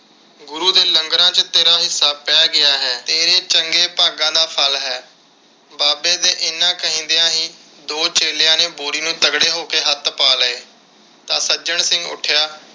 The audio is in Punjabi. ਗੁਰੂ ਦੇ ਲੰਗਰਾਂ ਵਿਚ ਤੇਰਾ ਹਿੱਸਾ ਪੈ ਗਿਆ ਹੈ। ਤੇਰੇ ਚੰਗੇ ਭਾਗਾਂ ਦਾ ਫਲ ਹੈ। ਬਾਬੇ ਦੇ ਇੰਨੇ ਕਹਿੰਦਿਆ ਹੀ ਦੋ ਚੇਲਿਆਂ ਨੇ ਬੋਰੀ ਨੂੰ ਤਗੜੇ ਹੋ ਕੇ ਹੱਥ ਪਾ ਲਏ ਤਾਂ ਸੱਜਣ ਸਿੰਘ ਉੱਠਿਆ